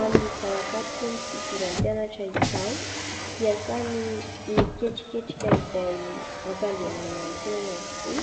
Amin'izao ankatoky ny fidiran'ny mpianatra izao dia samy miketriketrika izay ampandehanana ny tsenany avokoa